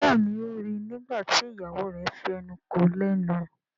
Béèni o rí ní nígbàtí ìyàwó rẹ fí enú kò lénu.